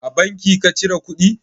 A banki ka cire kuɗi?